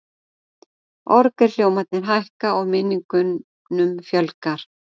Orgelhljómarnir hækka, og minningunum fjölgar.